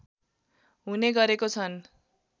हुने गरेको छन्